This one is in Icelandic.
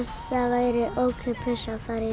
væri ókeypis